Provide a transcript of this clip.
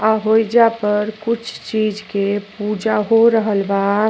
अ होइजा पर कुछ चीज़ के पूजा हो रहल बा।